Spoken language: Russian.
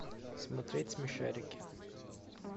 смотреть смешарики